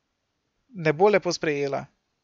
Ne bo lepo sprejela.